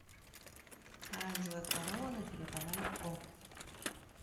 оранжевая корона на телеканале о